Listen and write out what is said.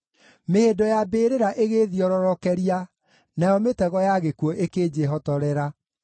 Mĩhĩndo ya mbĩrĩra ĩgĩĩthiororokeria; nayo mĩtego ya gĩkuũ ĩkĩnjĩhotorera.